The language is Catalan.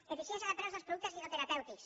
eficiència de preus dels productes dietoterapèutics